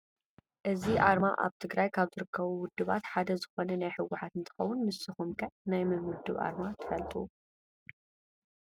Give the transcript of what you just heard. እዚ ኣርማ ኣብ ትግራይ ካብ ዝርከቡ ውድባት ሓደ ዝኮነ ናይ ህወሓት እንትከውን፣ ንስኩም ከ ናይ መን ውድብ ኣርማ ትፈልጡ ?